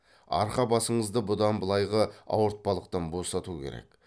арқа басыңызды бұдан былайғы ауыртпалықтан босату керек